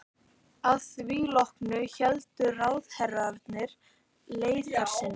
Að því loknu héldu ráðherrarnir leiðar sinnar.